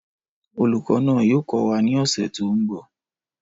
Olùkọ́ náà yóò kọ́ wa ní ọ̀sẹ̀ tó ń bọ̀